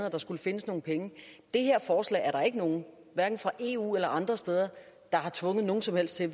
at der skulle findes nogle penge det her forslag er der ikke nogen hverken fra eu eller andre steder der har tvunget nogen som helst til at